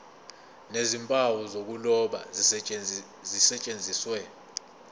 nezimpawu zokuloba zisetshenziswe